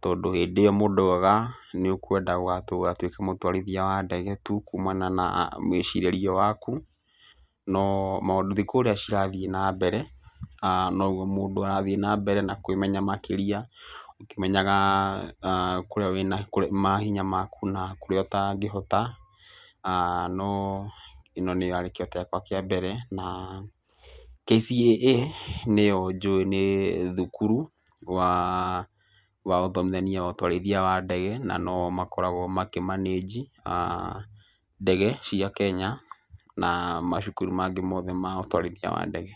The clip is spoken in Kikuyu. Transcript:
Tondũ hĩndĩ ĩyo mũndũ oigaga nĩ ũkwenda gũgatuĩka mũtwarithia wa ndege tu kumana na mwĩcirĩrie waku. No thikũ ũrĩa cirathiĩ na mbere noguo mũndũ arathiĩ na mbere na kwĩmenya makĩria, ũkĩmenyaga mahinya maku na kũrĩa ũtangĩhota. No ĩno nĩyo yarĩ kĩroto gĩakwa kĩa mbere. Na KCAA nĩyo njũi nĩ thukuru wa ũthomithania wa ũtwarithia wa ndege na no o makoragwo makĩ manaji ndege cia Kenya na macukuru mangĩ mothe ma ũtwarithia wa ndege.